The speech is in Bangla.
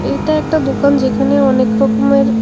এটা একটা দোকান যেখানে অনেক রকমের--